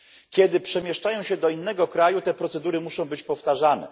Kiedy przemieszczają się do innego kraju, te procedury muszą być powtarzane.